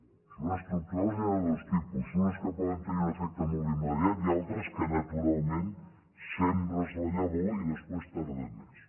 de mesures estructurals n’hi ha de dos tipus unes que poden tenir un efecte molt immediat i altres que naturalment sembres la llavor i després tarden més